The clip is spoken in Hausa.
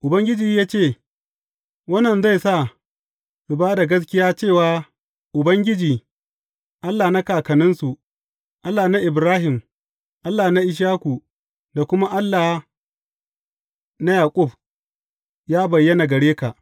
Ubangiji ya ce, Wannan zai sa su ba da gaskiya cewa Ubangiji, Allah na kakanninsu, Allah na Ibrahim, Allah na Ishaku, da kuma Allah da Yaƙub, ya bayyana gare ka.